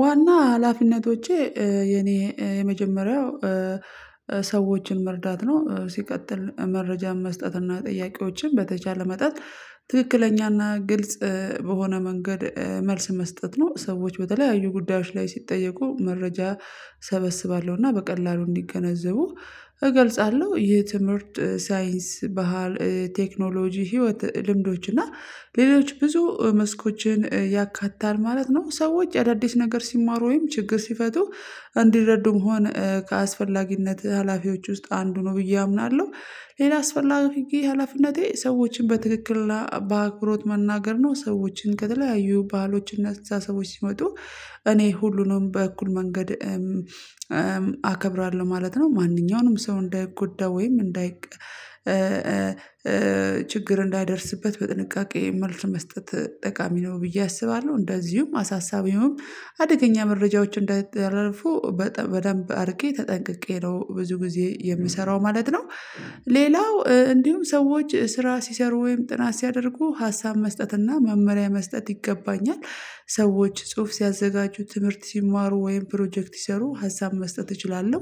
ዋና ሀላፊነቶቼ የኔ የመጀመሪያው ሰዎችን መርዳት ነው ሲቀጥል መረጃን መስጠትና ጥያቄዎችን በተቻለ መጠን ትክክለኛና ግልጽ በሆነ መንገድ መልስ መስጠት ነው። ሰዎች በተለያዩ ጉዳዮች ላይ ሲጠየቁ መረጃ እሰበስባለሁ እና በቀላሉ እንዲገነዘቡ እገልጻለሁ። ይህ ትምህርት ሳይንስ ባህል ቴክኖሎጂ ህይወት ልምዶች እና ሌሎች ብዙ መስኮችን ያካታል ማለት ነው። ሰዎች አዳዲስ ነገር ሲማሩ ወይም ችግር ሲፈቱ እንዲረዱም ሆነ ከአስፈላጊነት ሀላፊዎች ውስጥ አንዱ ነው ብዬ አምናለሁ። ሌላ አስፈላጊ ሀላፊነቴ ሰዎችን በትክክል በአክብሮት መናገር ነው። ሰዎችን ከተለያዩ ባህሎችና አስተሳሰቦች ሲመጡ እኔ ሁሉንም በእኩል መንገድ አከብራለሁ ማለት ነው። ማንኛውንም ሰው እንዳይጎዳ ወይም እንዳይ ችግር እንዳይደርስበት በጥንቃቄ መልስ መስጠት ጠቃሚ ነው ብዬ አስባለሁ። እንደዚሁም አሳሳቢውም አደገኛ መረጃዎች እንዳይተላለፉ በደንብ አድርጌ ተጠንቅቄ ነው ብዙ ጊዜ የምሰራው ማለት ነው። ሌላው እንዲሁም ሰዎች ስራ ሲሰሩ ወይም ጥናት ሲያደርጉ ሀሳብ መስጠት እና መመሪያ መስጠት ይገባኛል። ሰዎች ጽሁፍ ሲያዘጋጁ ትምህርት ሲማሩ ወይም ፕሮጀክት ሲሰሩ ሀሳብ መስጠት እችላለሁ።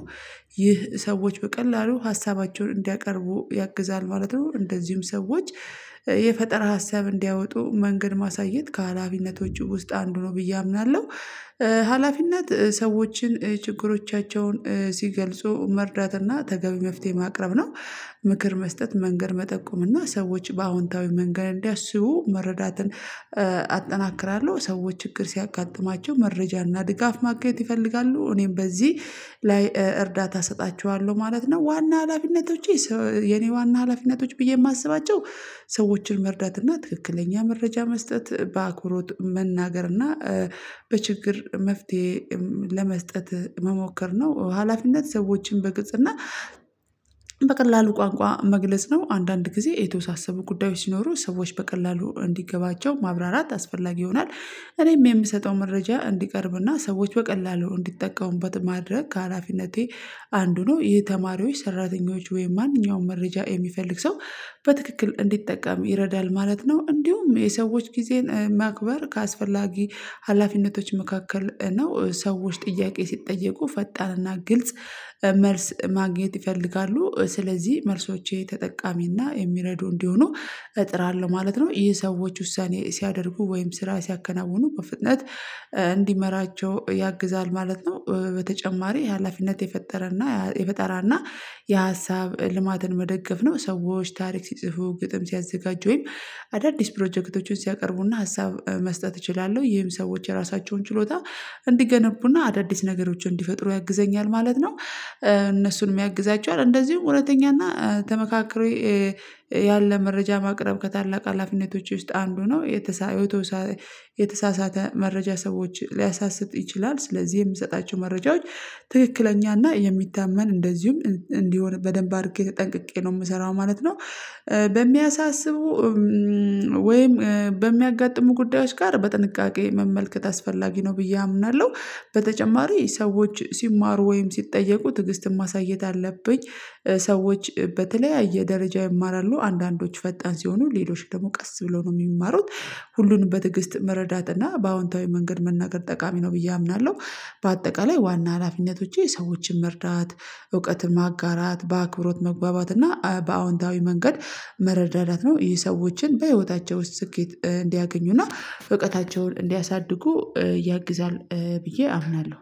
ይህ ሰዎች በቀላሉ ሀሳባቸውን እንዲያቀርቡ ያግዛል ማለት ነው እንደዚሁም ሰዎች የፈጠራ ሀሳብ እንዲያወጡ መንገድ ማሳየት ከሀላፊነቶቹ ውስጥ አንዱ ነው ብዬ አምናለሁ። ሀላፊነት ሰዎችን ችግሮቻቸውን ሲገልጹ መርዳትና ተገቢ መፍትሄ ማቅረብ ነው። ምክር መስጠት መንገድ መጠቆም እና ሰዎች በአዎንታዊ መንገድ እንዲያስቡ መረዳትን አጠናክራለሁ። ሰዎች ችግር ሲያጋጥማቸው መረጃና ድጋፍ ማግኘት ይፈልጋሉ እኔም በዚህ ላይ እርዳታ እሰጣቸዋለሁ ማለት ነው። ዋና ሀላፊነቶቼ የኔ ዋና ሀላፊነቶች ብዬ የማስባቸው ሰዎችን መርዳት እና ትክክለኛ መረጃ መስጠት በአኩሮት መናገር እና በችግር መፍትሄ ለመስጠት መሞከር ነው። ሀላፊነት ሰዎችን በግልጽ እና በቀላሉ ቋንቋ መግለጽ ነው። አንዳንድ ጊዜ የተወሳሰቡ ጉዳዮች ሲኖሩ ሰዎች በቀላሉ እንዲገባቸው ማብራራት አስፈላጊ ይሆናል። እኔም የምሰጠው መረጃ እንዲቀርብና ሰዎች በቀላሉ እንዲጠቀሙበት ማድረግ ከሀላፊነቴ አንዱ ነው። ይህ ተማሪዎች ሰራተኞች ወይም ማንኛውም መረጃ የሚፈልግ ሰው በትክክል እንዲጠቀም ይረዳል ማለት ነው። እንዲሁም የሰዎች ጊዜን ማክበር ከአስፈላጊ ሀላፊነቶች መካከል ነው። ሰዎች ጥያቄ ሲጠየቁ ፈጣንና ግልጽ መልስ ማግኘት ይፈልጋሉ ስለዚህ መልሶቼ ተጠቃሚና የሚረዱ እንዲሆኑ እጥራለሁ ማለት ነው። ይህ ሰዎች ውሳኔ ሲያደርጉ ወይም ስራ ሲያከናውኑ በፍጥነት እንዲመራቸው ያግዛል ማለት ነው። በተጨማሪ የሀላፊነት የፈጠረና የፈጠራና የሀሳብ ልማትን መደገፍ ነው። ሰዎች ታሪክ ሲጽፉ ግጥም ሲያዘጋጁ ወይም አዳዲስ ፕሮጀክቶችን ሲያቀርቡና ሀሳብ መስጠት እችላለሁ ይህም ሰዎች የራሳቸውን ችሎታ እንዲገነቡና አዳዲስ ነገሮችን እንዲፈጥሩ ያግዘኛል ማለት ነው። እነሱንም ያግዛቸዋል እንደዚሁም እውነተኛና ተመካክሮ ያለ መረጃ ማቅረብ ከታላቅ ሀላፊነቶች ውስጥ አንዱ ነው። የተሳሳተ መረጃ ሰዎች ሊያሳስት ይችላል ስለዚህ የምሰጣቸው መረጃዎች ትክክለኛና የሚታመን እንደዚሁም እንዲሆን በደንብ አድርጌ ተጠንቅቄ ነው የምሰራው ማለት ነው። በሚያሳስቡ ወይም በሚያጋጥሙ ጉዳዮች ጋር በጥንቃቄ መመልከት አስፈላጊ ነው ብዬ አምናለሁ። በተጨማሪ ሰዎች ሲማሩ ወይም ሲጠየቁ ትግስትም ማሳየት አለብኝ። ሰዎች በተለያየ ደረጃ ይማራሉ አንዳንዶች ፈጣን ሲሆኑ ሌሎች ደግሞ ቀስ ብሎ ነው የሚማሩት። ሁሉንም በትግስት መረዳት እና በአዎንታዊ መንገድ መናገር ጠቃሚ ነው ብዬ አምናለሁ። በአጠቃላይ ዋና ሀላፊነቶች የሰዎችን መርዳት እውቀትን ማጋራት በአክብሮት መግባባት እና በአዎንታዊ መንገድ መረዳዳት ነው። ሰዎችን በህይወታቸው ስኬት እንዲያገኙና እውቀታቸውን እንዲያሳድጉ ያግዛል ብዬ አምናለሁ።